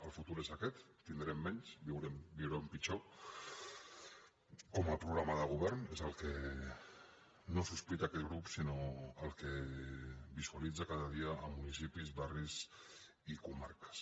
el fu·tur és aquest tindrem menys viurem pitjor com a programa de govern és el que no sospita aquest grup sinó el que visualitza cada dia a municipis barris i comarques